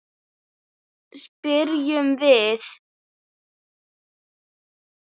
spyrjum við.